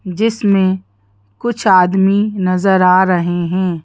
जिसमें कुछ आदमी नजर आ रहे हैं।